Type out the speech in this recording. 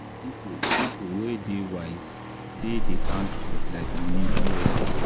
people people wey dey wise dey dey count food like money no waste am.